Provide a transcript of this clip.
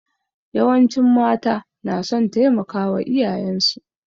Yawancin mata na son taimakawa iyayensu.